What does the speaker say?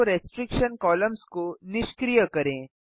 show restriction columns को निष्क्रिय करें